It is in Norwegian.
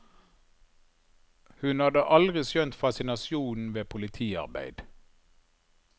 Hun hadde aldri skjønt fascinasjonen ved politiarbeid.